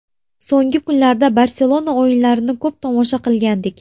So‘nggi kunlarda ‘Barselona’ o‘yinlarini ko‘p tomosha qilgandik.